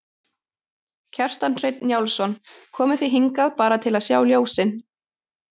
Kjartan Hreinn Njálsson: Komuð þið hingað bara til að sjá ljósin?